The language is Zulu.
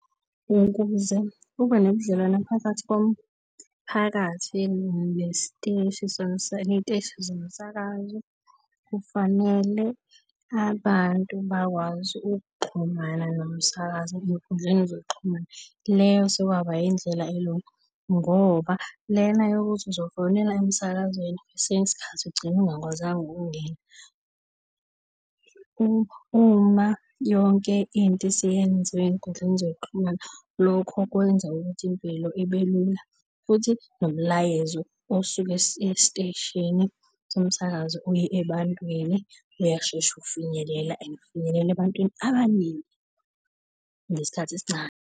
Ukuze kube nebudlelwano phakathi komphakathi nesiteshi , iy'teshi zomsakazo kufanele abantu bakwazi ukuxhumana nomsakazo ey'nkundleni zokuxhumana. Leyo sekwaba indlela elula ngoba lena yokuthi uzofonela emsakazweni kwesinye isikhathi ugcine ungakwazanga ukungena. Uma yonke into isiyenziwa ey'nkundleni zokuxhumana lokho kwenza ukuthi impilo ibe lula, futhi nomlayezo osuke esiteshini somsakazo uye ebantwini uyashesha ukufinyelela and ufinyelela ebantwini abaningi ngesikhathi esincane.